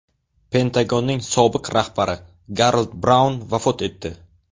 Pentagonning sobiq rahbari Garold Braun vafot etdi.